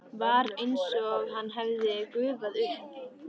Var einsog hann hefði gufað upp.